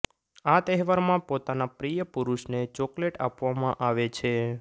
આ તહેવારમાં પોતાના પ્રિય પુરુષને ચોકલેટ આપવામાં આવે છે